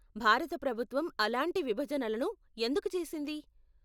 భారత ప్రభుత్వం అలాంటి విభజనలను ఎందుకు చేసింది?